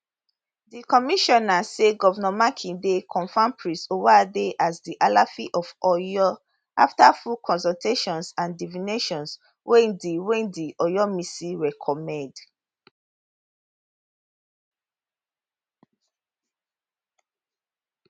di commissioner say govnor makinde confam prince owoade as di alaafin of oyo afta full consultations and divinations wey di wey di oyomesi recommend